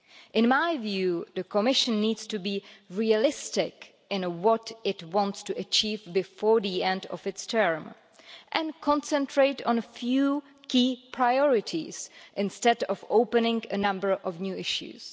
In my view, the Commission needs to be realistic in what it wants to achieve before the end of its term and concentrate on a few key priorities, instead of opening a number of new issues.